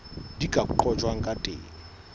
di ka qojwang ka teng